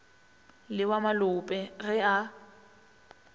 le wa malope ge a